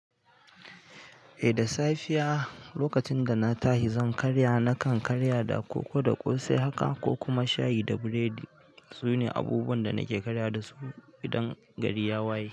Eh da safiya lokacin dana tashi zan karya, nakan karya da koko da ƙosai haka ko kuma shayi da buredi. Sune abubuwan da nake karyawa dasu idan gari ya waye.